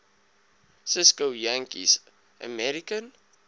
cisko yakkies american